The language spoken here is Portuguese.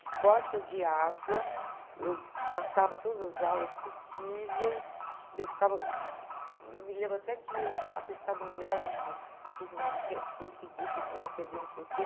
Esportes eu odiava, eu matava todas as aulas possíveis, eu ficava... Eu me lembro até que atestado médico, eu fiz minha mãe conseguir, porque senão eu ia perder não sei o quê.